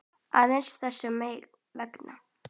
Aðeins þess vegna.